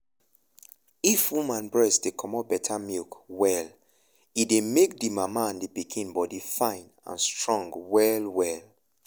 if woman breast dey comot better milk well e dey make the mama and pikin body fine and strong well well.